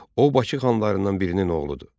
O, Bakı xanlarından birinin oğludur.